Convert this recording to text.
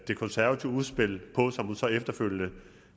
det konservative udspil på og som hun så efterfølgende